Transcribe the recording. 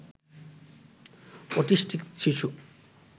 autistic শিশু